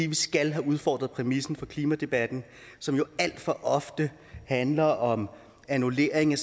vi skal have udfordret præmissen for klimadebatten som jo alt for ofte handler om annullering af